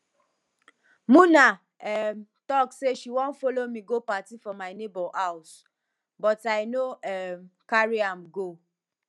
muna um talk say she wan follow me go party for my neighbour house but i no um carry am go